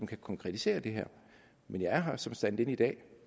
kan konkretisere det her men jeg er her som stand in i dag